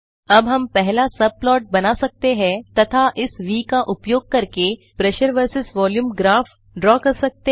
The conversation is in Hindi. अब हम पहला सब प्लॉट बना सकते हैं तथा इस व का उपयोग करके pressure versus volume graph draw कर सकते हैं